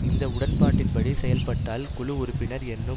இந்த உடன்பாட்டின்படி செயல்பட்டால் குழு உறுப்பினர் என்னும்